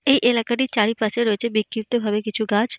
এই এলাকাটার চারিপাশে রয়েছে বিক্ষিপ্ত ভাবে কিছু গাছ।